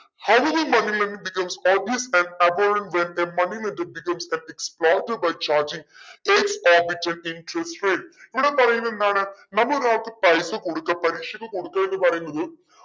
how will money lending becomes when a money lending becomes a ഇവിടെ പറയുന്നതെന്താണ് നമ്മൾ ഒരാൾക്ക് പൈസ കൊടുക്ക പലിശക്ക് കൊടുക്കാന്ന് പറയുന്നത്